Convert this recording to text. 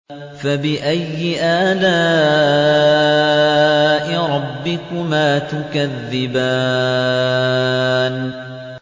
فَبِأَيِّ آلَاءِ رَبِّكُمَا تُكَذِّبَانِ